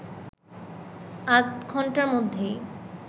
আধঘন্টার মধ্যেই